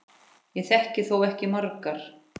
Ég þekki þó ekki margar.